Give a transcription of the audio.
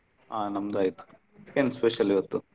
ಆಹ ನಮ್ದು ಆಯ್ತು ಏನ್ special ಇವತ್ತು?